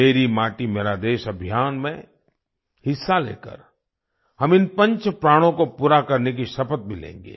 मेरी माटी मेरा देश अभियान में हिस्सा लेकर हम इन पंच प्राणों को पूरा करने की शपथ भी लेंगे